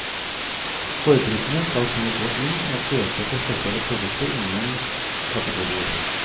Forbrukerne skal kunne gå inn og søke etter spesielle produkter innen kategorier.